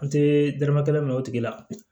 An tɛ dɔrɔmɛ kelen minɛ o tigila